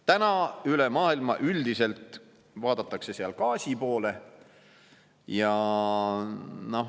Täna üle maailma üldiselt vaadatakse seal gaasi poole.